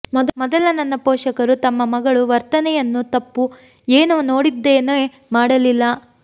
ಮೊದಲ ನನ್ನ ಪೋಷಕರು ತಮ್ಮ ಮಗಳು ವರ್ತನೆಯನ್ನು ತಪ್ಪು ಏನು ನೋಡಿದ್ದೇನೆ ಮಾಡಲಿಲ್ಲ